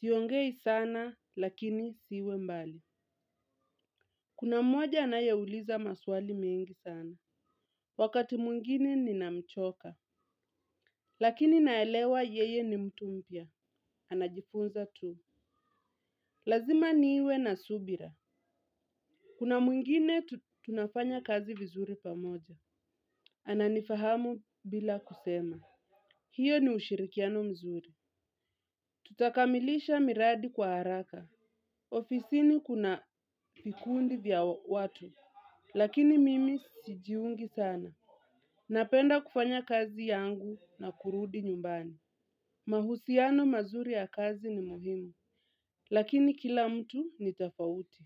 Siongei sana, lakini siwe mbali. Kuna mmoja anayeuliza maswali mengi sana. Wakati mwingine ninamchoka. Lakini naelewa yeye ni mtu mpya. Anajifunza tu. Lazima niwe na subira. Kuna mwingine tunafanya kazi vizuri pamoja. Ana nifahamu bila kusema. Hiyo ni ushirikiano mzuri. Tutakamilisha miradi kwa haraka. Ofisini kuna vikundi vya watu. Lakini mimi sijiungi sana. Napenda kufanya kazi yangu na kurudi nyumbani. Mahusiano mazuri ya kazi ni muhimu. Lakini kila mtu ni tofauti.